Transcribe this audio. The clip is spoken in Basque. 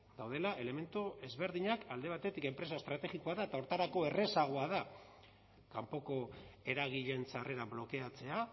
daudela elementu ezberdinak alde batetik enpresa estrategikoa da eta horretarako errazagoa da kanpoko eragileen sarrera blokeatzea